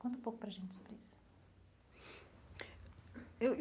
Conta um pouco para a gente sobre isso eu.